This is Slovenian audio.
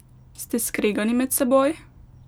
Ste skregani med seboj?